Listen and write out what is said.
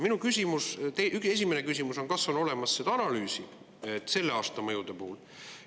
Minu esimene küsimus on: kas on olemas selle aasta mõjude analüüs?